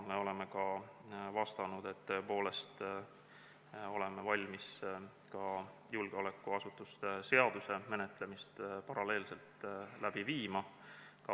Meie oleme vastanud, et oleme valmis ka julgeolekuasutuste seadust paralleelselt menetlema.